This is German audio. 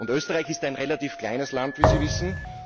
Österreich ist ein relativ kleines Land, wie Sie wissen.